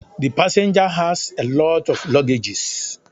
The passenger has a lot of luggages